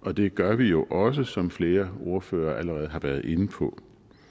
og det gør vi jo også som flere ordførere allerede har været inde på